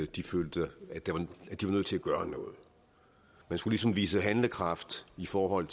de følte at de var nødt til at gøre noget man skulle ligesom vise handlekraft i forhold